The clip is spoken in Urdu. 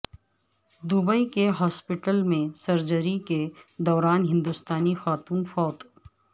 دوبئی کے ہاسپٹل میں سرجری کے دوران ہندوستانی خاتون فوت